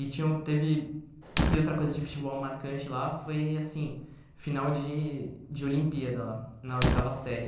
E tinha um teve... E outra coisa de futebol marcante lá foi, assim, final de de Olimpíada lá, na oitava série.